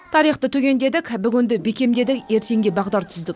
тарихты түгендедік бүгінді бекемдедік ертеңге бағдар түздік